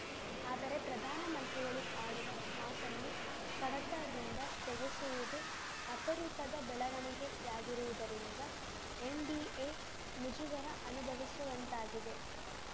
ಆದರೆ ಪ್ರಧಾನಮಂತ್ರಿಗಳು ಆಡುವ ಮಾತನ್ನು ಕಡತದಿಂದ ತೆಗೆಸುವುದು ಅಪರೂಪದ ಬೆಳವಣಿಗೆಯಾಗಿರುವುದರಿಂದ ಎನ್‌ಡಿಎ ಮುಜುಗರ ಅನುಭವಿಸುವಂತಾಗಿದೆ